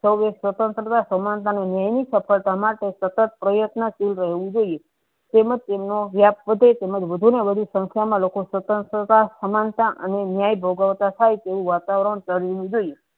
Serve એ સ્વન્ત્રા સમાનતા નુ નેવી સફલતા માટે સતત પ્રયત્નશીલ રેહવું જોયીયે તેમજ તેમનુ અભ્યાસ પોતે તેમજ વધુ ન વધુ સંસ્થા મા લોકો સ્વંત્ર થતા સમાનતા અને ન્યાય ભોગવતા થાય તેવું વાતાવરણ કરવું જોયીયે.